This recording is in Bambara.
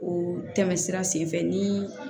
O tɛmɛ sira sen fɛ nii